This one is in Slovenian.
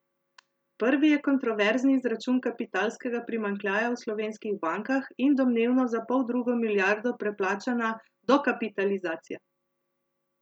Prvi je kontroverzni izračun kapitalskega primanjkljaja v slovenskih bankah in domnevno za poldrugo milijardo preplačana dokapitalizacija.